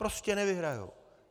Prostě nevyhrají.